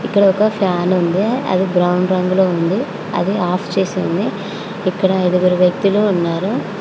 ఇక్కడ ఒక ఫ్యాన్ ఉంది అది బ్రౌన్ రంగులో ఉంది అది ఆఫ్ చేసి ఉంది ఇక్కడ ఐదుగురు వ్యక్తులు ఉన్నారు.